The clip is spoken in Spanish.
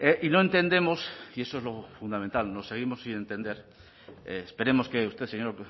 y no entendemos y eso es lo fundamental seguimos sin entender esperemos que usted señor